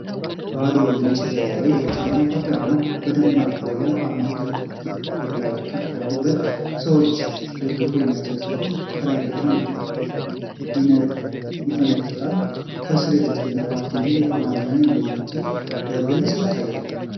ባዶ ነጭ ጀርባ ላይ የብልጽግና ፓርቲ አርማ በደማቅ ይታያል። አርማው ሁለት እጆች ወደ ላይ ከፍ ያሉ ሁለት ሰዎችን ደግፈው የሚያሳይ ሲሆን፣ ከላይ ብርሃን ይፈነጥቃል። ከሥር "የብልፅግና ፓርቲ" የሚል የአማርኛና የእንግሊዝኛ ጽሑፎች በግልጽ ይታያሉ።